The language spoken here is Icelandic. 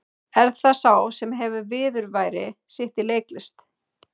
Er það sá sem hefur viðurværi sitt af leiklist?